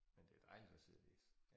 Men det dejligt at sidde og læse